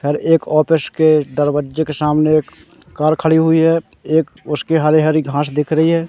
और एक ऑफिस के दरवज्जे के सामने एक कार खड़ी हुई है एक उसके हरी हरी घास दिख रही है।